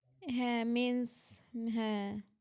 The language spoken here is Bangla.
হ্যাঁ mense, হ্যাঁ